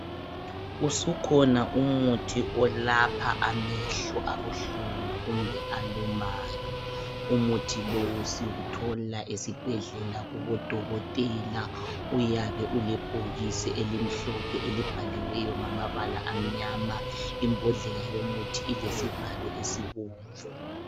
Usukhona umuthi olapha amehlo abuhlungu kumbe alumayo. Umuthi lowu siwuthola esibhedlela kubodokotela uyabe ulebhokisi elibhaliweyo ngamabala amnyama, imbodlela ilesivalo esibomvu.